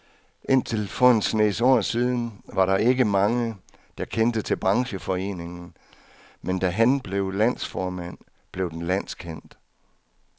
Indtil for en snes år siden var der ikke mange, der kendte til brancheforeningen, men da han blev landsformand, blev den landskendt.